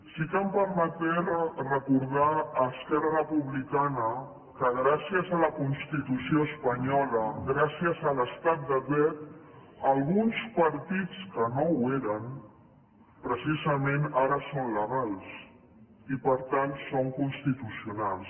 sí que em permetré recordar a esquerra republicana que gràcies a la constitució espanyola gràcies a l’estat de dret alguns partits que no ho eren precisament ara són legals i per tant són constitucionals